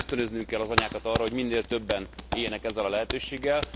Miszerint ösztönöznünk kell az anyákat arra, hogy minél többen éljenek ezzel a lehetőséggel.